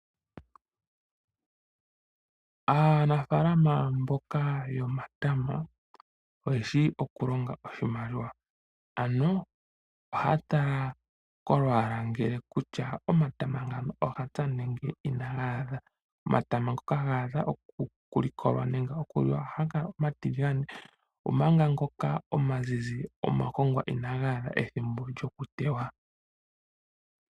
Aanafaalama yomatama ohaya tekula nokusila oshimpwiyu omatama gawo. Uuna omatama omazizi ngawo otashiyi omagongwa. Uuna omatama omatiligane ngawo otadhiti ogaadha okulikolwa gaka landithwepo.